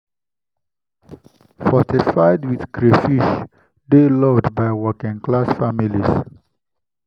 fortified with crayfish dey loved by working-class families.